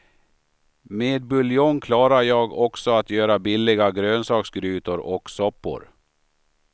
Med buljong klarar jag också att göra billiga grönsaksgrytor och soppor.